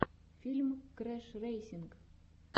фильм крэшрэйсинг